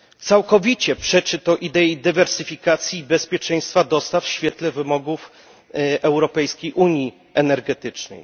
Całkowicie przeczy to idei dywersyfikacji i bezpieczeństwa dostaw w świetle wymogów europejskiej unii energetycznej.